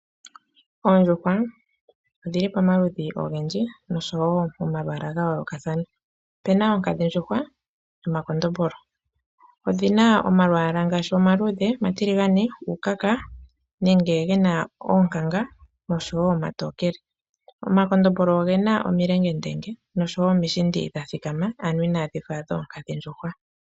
Oondjuhwa odhi li pamaludhi ogendji nosho wo pamalwaala ga yoolokathana. Opu na oonkadhindjuhwa nomakondombolo. Odhi na omalwaala ngaashi: omaluudhe, omatiligane, uukaka nenge ge na uukanga nosho wo omatookele. Omakondombolo oge na omulengendenge nomishindi dha thikama, ano inaadhi fa dhoonkadhindjuhwa.